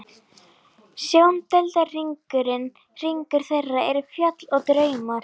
Sjóndeildarhringur þeirra eru fjöll og draumar.